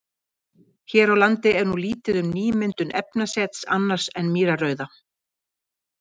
Hér á landi er nú lítið um nýmyndun efnasets annars en mýrarauða.